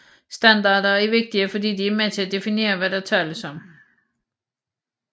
Standarder er vigtige fordi de er med til at definere hvad der tales om